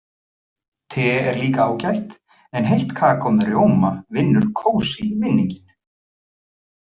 Te er líka ágætt en heitt kakó með rjóma vinnur kósí-vinninginn.